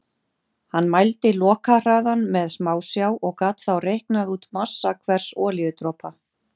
Hann mældi lokahraðann með smásjá og gat þá reiknað út massa hvers olíudropa.